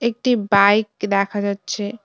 একটি বাইক দেখা যাচ্ছে।